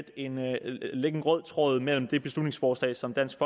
en rød tråd mellem det beslutningsforslag som dansk